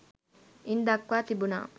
ඉන් දක්වා තිබුණා.